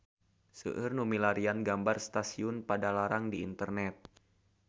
Seueur nu milarian gambar Stasiun Padalarang di internet